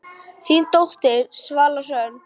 Þín dóttir, Svala Hrönn.